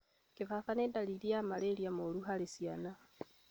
Gibaba nĩ ndariri ya malaria moru harĩ ciana.